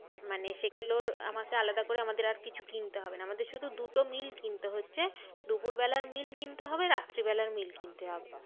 মানে সেগুলোর আমাকে আলাদা করে আমাদের আর কিছু কিনতে হবে না। আমাদের শুধু দুটো meal কিনতে হচ্ছে। দুপুর বেলার meal কিনতে হবে। রাত্রি বেলার meal কিনতে হবে।